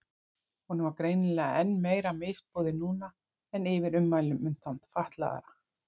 Honum var greinilega enn meira misboðið núna en yfir ummælunum um þann fatlaða.